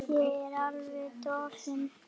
Ég er alveg dofin.